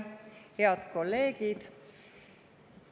Head kolleegid!